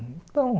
Então,